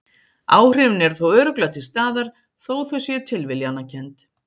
Áhrifin eru þó örugglega til staðar, þó þau séu tilviljanakennd.